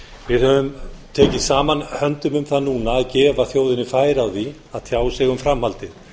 við höfum tekið saman höndum um það núna að gefa þjóðinni færi á því að tjá sig um framhaldið